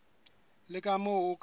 le ka moo o ka